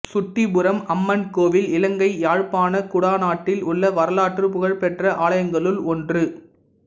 சுட்டிபுரம் அம்மன் கோவில் இலங்கை யாழ்ப்பாணக் குடாநாட்டில் உள்ள வரலாற்றுப் புகழ் பெற்ற ஆலயங்களுள் ஒன்று